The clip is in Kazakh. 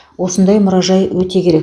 осындай мұражай өте керек